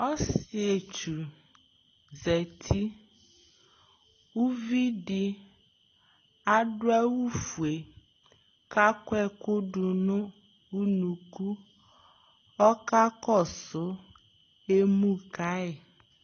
ɔsietsu zati uvi di ado awu fue ko akɔ ɛko do no unuku ɔka kɔso emu ka yi